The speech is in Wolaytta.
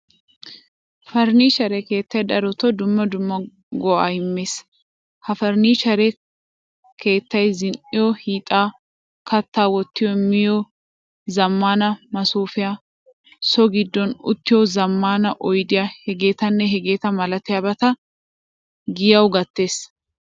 Furnichchere keettay darotto dumma dumma go'aa immees. Ha furnichchere kaattaay zin'iyo hiixxa, katta wotti miyo zamaana masoofiya, so giddon uttiyo zamaana oydiya hegetanne hegetta milatiyabata giyawu gattees.